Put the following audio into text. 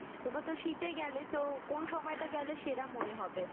তোমরাতো শীতে গেলে তো কোন সময়টা গেলে সেরা মনে হবে?